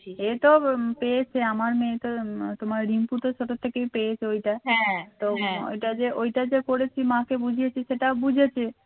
এই তো পেয়েছে আমার মেয়ে তো তোমার রিঙ্কু তো ছোট থেকেই পেয়েছো ওইটা তো হ্যাঁ ওইটা যে ওইটা যে করেছি মাকে বুঝিয়েছি সেটাও বুঝেছে সেটাও বুঝেছে